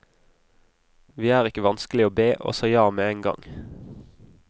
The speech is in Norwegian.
Vi er ikke vanskelig å be, og sa ja med en gang.